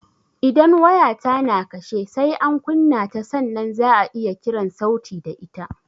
Idan waya ta na kashe, sai an kunna ta sannan za'a iya kiran sauti da ita